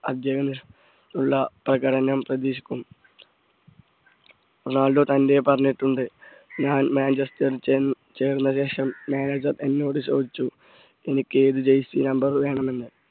ഉള്ള പ്രകടനം പ്രതീക്ഷിക്കും റൊണാൾഡോ തന്നെ പറഞ്ഞിട്ടുണ്ട് ഞാൻ മാഞ്ചസ്റ്ററിൽ ചേർന്നശേഷം manager എന്നോട് ചോദിച്ചു എനിക്ക് ഏത് number jersey വേണമെന്ന്